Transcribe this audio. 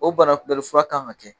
O bana kunbɛnnifura kan ka kɛ